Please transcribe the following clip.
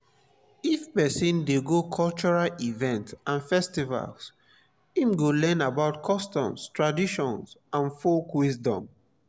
if persin de go cultural events and festivals im go learn about customs traditions and folk wisdom